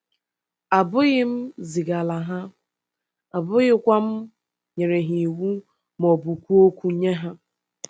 Abụghị m zigaala ha, abụghịkwa m nyere ha iwu ma ọ bụ kwuo okwu nye ha.